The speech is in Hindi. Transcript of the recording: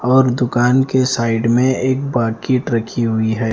और दुकान के साइड में एक बाकिट रखी हुई है।